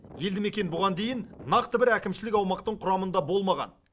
елді мекен бұған дейін нақты бір әкімшілік аумақтың құрамында болмаған